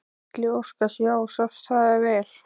Gísli Óskarsson: Já, sást það vel?